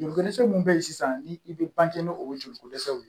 Joliko dɛsɛ min bɛ yen sisan ni i bɛ banke n'o ye joliko dɛsɛw ye